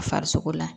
Farisogo la